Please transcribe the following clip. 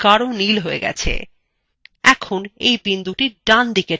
এখন এই বিন্দুটি drag দিকে টানুন